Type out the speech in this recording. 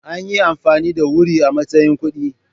Anyi amfani da Wuri a matsayin kuɗi.